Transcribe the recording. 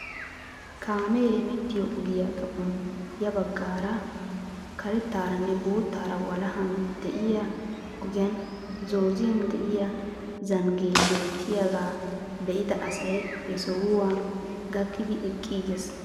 Kaame hemettiyoo ogiyaa xaphon ya baggaara karettaaranne boottara walahan de'iyaa ogiyaan zooziyaan de'iyaa zanggee bettiyaaga be'ida asay he sohuwaa gakkidi eqqiiges.